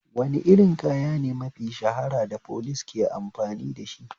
Wane irin kaya ne mafi shahara da police ake amfani dashi?